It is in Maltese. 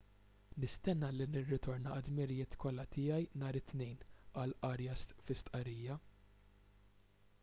nistenna li nirritorna għad-dmirijiet kollha tiegħi nhar it-tnejn qal arias fi stqarrija